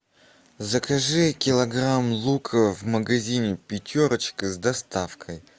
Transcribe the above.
закажи килограмм лука в магазине пятерочка с доставкой